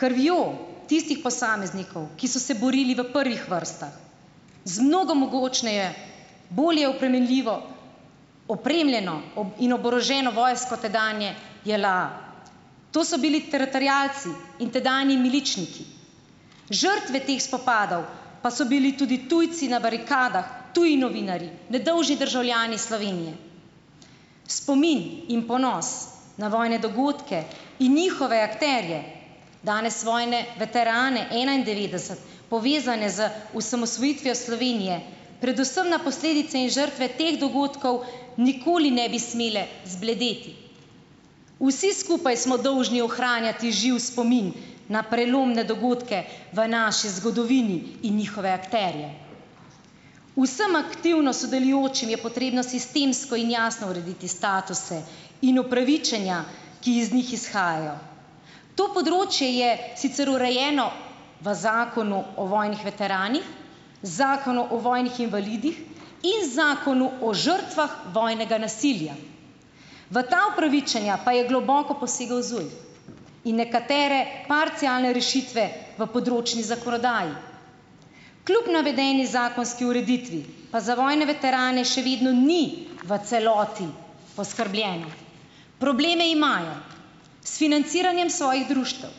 krvjo tistih posameznikov, ki so se borili v prvih vrstah z mnogo mogočneje, bolje opremenljivo opremljeno in oboroženo vojsko tedanje JLA, to so bili teritorialci in tedanji miličniki, žrtve teh spopadov pa so bili tudi tujci na barikadah, tudi novinarji, nedolžni državljani Slovenije, v spomin in ponos na vojne dogodke in njihove akterje danes vojne veterane enaindevetdeset, povezane z osamosvojitvijo Slovenije, predvsem na posledice in žrtve teh dogodkov nikoli ne bi smele zbledeti, vsi skupaj smo dolžni ohranjati živ spomin na prelomne dogodke v naši zgodovini in njihove akterje. Vsem aktivno sodelujočim je potrebno sistemsko in jasno urediti statuse in upravičenja ki iz njih izhajajo, to področje je sicer urejeno v zakonu o vojnih veteranih, zakonu o vojnih invalidih in zakonu o žrtvah vojnega nasilja. V ta upravičenja pa je globoko posegal ZUJF in nekatere parcialne rešitve v področni zakonodaji, kljub navedeni zakonski ureditvi pa za vojne veterane še vedno ni v celoti poskrbljeno; probleme imajo s financiranjem svojih društev,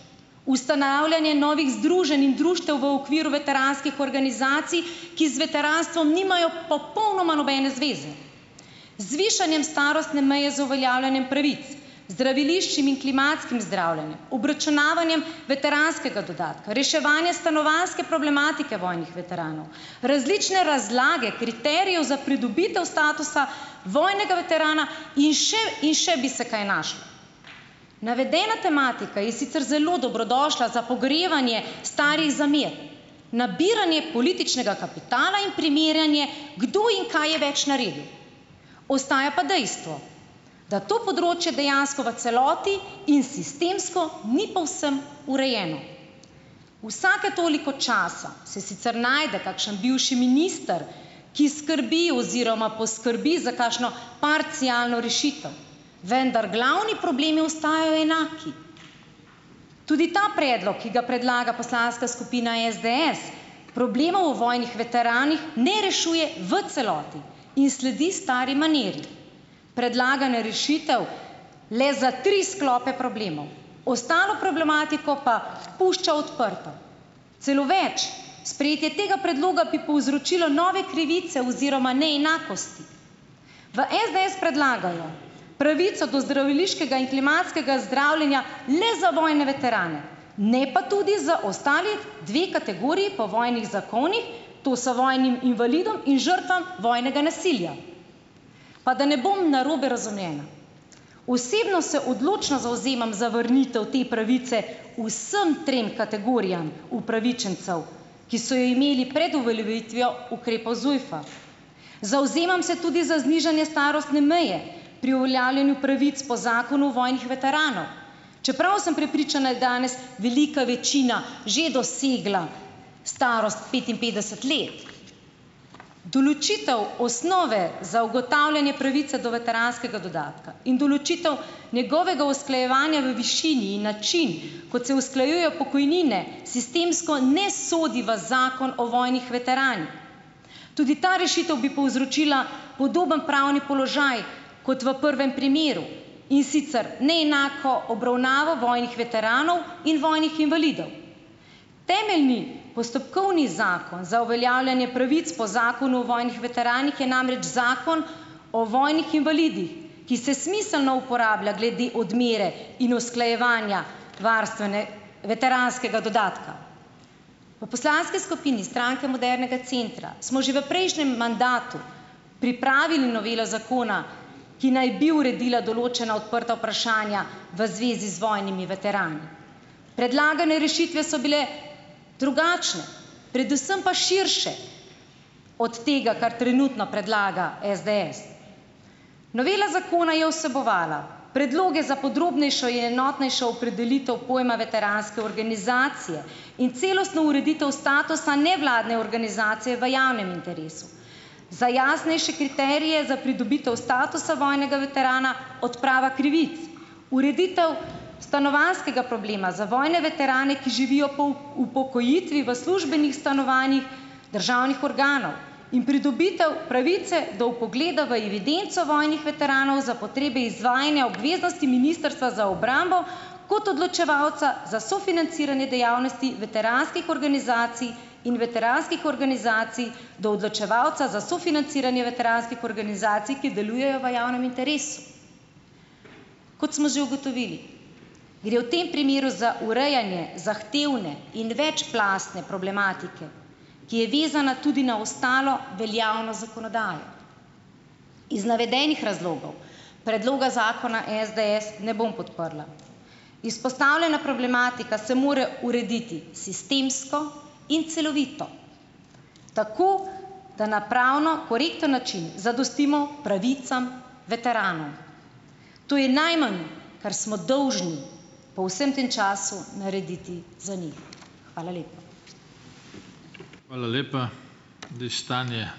ustanavljanjem novih združenj in društev v okviru veteranskih organizacij, ki z veteranstvom nimajo popolnoma nobene zveze, z višanjem starostne meje, z uveljavljanjem pravic, zdraviliščnim in klimatskim zdravljenjem, obračunavanjem veteranskega dodatka, reševanjem stanovanjske problematike vojnih veteranov, različne razlage kriterijev za pridobitev statusa vojnega veterana in še in še bi se kaj našlo. Navedena tematika je sicer zelo dobrodošla za pogrevanje starih zamer, nabiranje političnega kapitala in primerjanje, kdo in kaj je več naredil, ostaja pa dejstvo, da to področje dejansko v celoti in sistemsko ni povsem urejeno. Vsake toliko časa se sicer najde kakšen bivši minister, ki skrbi oziroma poskrbi za takšno parcialno rešitev, vendar glavni problemi ostajajo enaki. Tudi ta predlog, ki ga predlaga poslanska skupina SDS, problema o vojnih veteranih ne rešuje v celoti in sledi stari maniri, predlaganje rešitev le za tri sklope problemov, ostalo problematiko pa pušča odprto, celo več, sprejetje tega predloga bi povzročilo nove krivice oziroma neenakosti. V SDS predlagajo pravico do zdraviliškega in klimatskega zdravljenja le za vojne veterane, ne pa tudi za ostali dve kategoriji po vojnih zakonih, to so vojnim invalidom in žrtvam vojnega nasilja. Pa da ne bom narobe razumljena, osebno se odločno zavzemam za vrnitev te pravice vsem trem kategorijam upravičencev, ki so imeli pred uveljavitvijo ukrepov ZUJF-a, zavzemam se tudi za znižanje starostne meje pri uveljavljanju pravic po zakonu vojnih veteranov, čeprav sem prepričana, je danes velika večina že dosegla starost petinpetdeset let. Določitev osnove za ugotavljanje pravice do veteranskega dodatka in določitev njegovega usklajevanja v višini in način, kot se usklajujejo pokojnine, sistemsko ne sodi v zakon o vojnih veteranih, tudi ta rešitev bi povzročila podoben pravni položaj kot v prvem primeru, in sicer neenako obravnavo vojnih veteranov in vojnih invalidov. Temeljni postopkovni zakon za uveljavljanje pravic po zakonu o vojnih veteranih je namreč zakon o vojnih invalidih, ki se smiselno uporablja glede odmere in usklajevanja veteranskega dodatka. V poslanski skupini Stranke modernega centra smo že v prejšnjem mandatu pripravili novelo zakona, ki naj bi uredila določena odprta vprašanja v zvezi z vojnimi veterani, predlagane rešitve so bile drugačne, predvsem pa širše od tega, kar trenutno predlaga SDS. Novela zakona je vsebovala predloge za podrobnejšo in enotnejšo opredelitev pojma veteranske organizacije in celostno ureditev statusa nevladne organizacije v javnem interesu za jasnejše kriterije za pridobitev statusa vojnega veterana. Odprava krivic, ureditev stanovanjskega problema za vojne veterane, ki živijo upokojitvi v službenih stanovanjih državnih organov, in pridobitev pravice do vpogleda v evidenco vojnih veteranov za potrebe izvajanja obveznosti ministrstva za obrambo kot odločevalca so sofinanciranje dejavnosti veteranskih organizacij in veteranskih organizacij do odločevalca za sofinanciranje veteranskih organizacij, ki delujejo v javnem interesu. Kot smo že ugotovili, gre v tem primeru za urejanje zahtevne in večplastne problematike, ki je vezana tudi na ostalo veljavno zakonodajo, iz navedenih razlogov predloga zakona SDS ne bom podprla, izpostavljena problematika se mora urediti sistemsko in celovito, tako da na pravno korekten način zadostimo pravicam veteranom, to je najmanj, kar smo dolžni po vsem tem času narediti za njih. Hvala lepa. Hvala lepa,